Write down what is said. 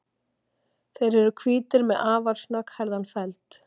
þeir eru hvítir með afar snögghærðan feld